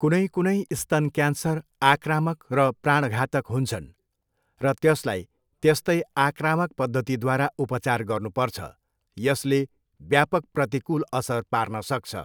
कुनै कुनै स्तन क्यान्सर आक्रामक र प्राणघातक हुन्छन् र त्यसलाई त्यस्तै आक्रामक पद्धतिद्वारा उपचार गर्नुपर्छ, यसले व्यापक प्रतिकूल असर पार्न सक्छ।